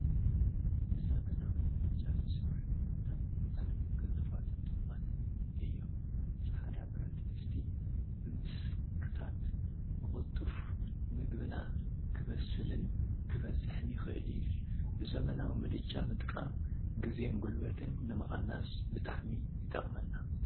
ብዘመናዊ ምድጃ ዝስርሑ ምግቢታት ብጣዕሚ ቅልጡፋትን ጡዑማትን እዮም፡፡ ዓዕዳ ብረት ድስቲ ብምስክታት ብቅልጡፍ ምግብና ክበስልን ክበፅሕን ይክእል እዩ፡፡ ብዘመናዊ ምድጃ ምጥቃም ግዜን ጉልበትን ንምቅናስ ብጣዕሚ ይጠቅመና፡፡